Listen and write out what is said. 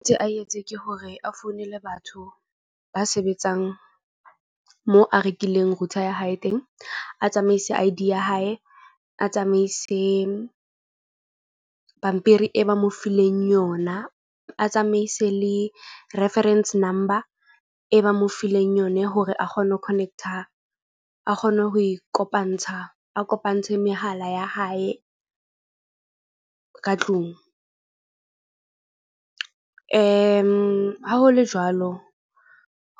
Ntse a etse ke hore a founele batho ba sebetsang moo a rekileng router ya hae teng. A tsamaise I_D ya hae, a tsamaise pampiri e ba mo fileng yona. A tsamaise le reference number e ba mo fileng yone hore a kgone ho connect-a. A kgone ho e kopantsha, a kopantshe mehala ya hae ka tlung. Ha ho le jwalo,